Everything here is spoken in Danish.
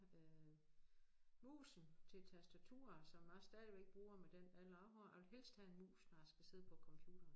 Øh musen til et tastatur som jeg stadigvæk bruger med den alder jeg har jeg vil helst have en mus når jeg skal sidde på computeren